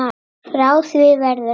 Frá því verður að forða.